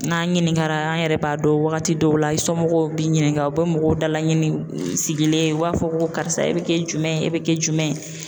N'an ɲininkara an yɛrɛ b'a dɔn wagati dɔw la i somɔgɔw b'i ɲininka u bi mɔgɔw dala ɲini, i sigilen u b'a fɔ ko karisa e bi kɛ jumɛn ye ? e bi kɛ jumɛn ye ?